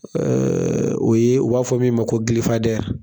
o ye u b'a fɔ min ma ko .